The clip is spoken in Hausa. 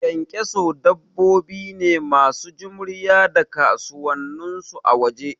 Ƙyanƙyaso dabbobi ne masu jimriya da kasusuwan su a waje